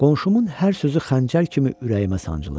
Qonşumun hər sözü xəncər kimi ürəyimə sancılırdı.